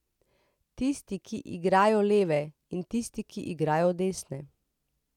Tisti, ki igrajo leve, in tisti, ki igrajo desne.